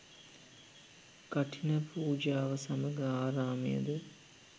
කඨින පූජාව සමග ආරාමයද